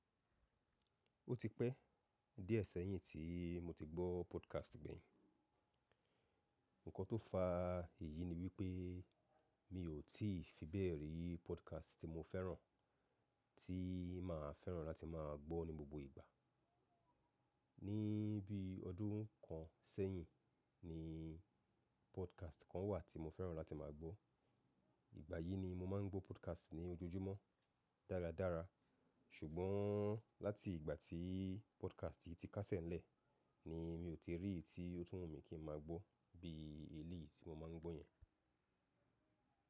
Ó ti pẹ́ díẹ̀ sẹ́yìn tí mo ti gbọ́ podcast gbeyìn. Ǹkan tó fa èyí ni wípẹ́ mi ò tí fi bẹ̀rẹ̀ rí podcast tí mo fẹ́ràn, tí màá fẹ́ràn láti máa gbọ́ ní gbogbo ìgbà. Ní bí ọdún kan ṣẹ́yìn ní podcast kan wà tí mo fẹ́ràn láti máa gbọ́. Ìgbà yìí ni mo máa ń gbọ́ podcast ní ojoojúmọ́ dáradára. Ṣùgbọ́n láti ìgbà tí podcast yìí ti káṣẹ̀ lẹ̀ ni mi ò tí rí tí ó túnwò mi kí ń máa gbọ́ bí èlí tí mo máa ń gbọ́ yẹn.